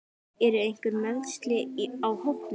Eru einhver meiðsli á hópnum?